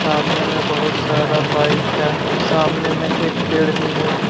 सामने में बहुत सारा बाइक है सामने में एक पेड़ भी है।